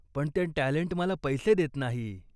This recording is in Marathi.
पण ते टॅलंट मला पैसे देत नाही.